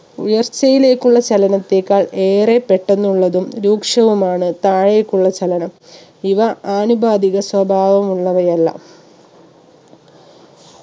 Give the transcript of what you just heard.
ഉയർച്ചയിലേക്കുള്ള ചലനത്തെക്കാൾ ഏറെ പെട്ടെന്നുള്ളതും രൂക്ഷവുമാണ് താഴേക്കുള്ള ചലനം ഇവ ആനുപാതിക സ്വഭാവമുള്ളവയല്ല